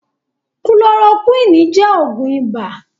Kulorokúwínì jẹ́ Ògùn ibà